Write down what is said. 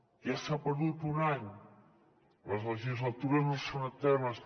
ja s’ha perdut un any les legislatures no són eternes